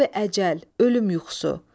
Xab əcəl, ölüm yuxusu.